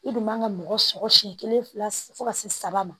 I dun man ka mɔgɔ sɔrɔ siɲɛ kelen fila fɔ ka se saba ma